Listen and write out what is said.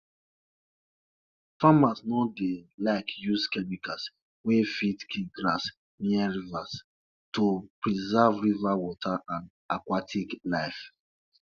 dey teach pikin how to take better care of animals and how to make things like milk and butter from dem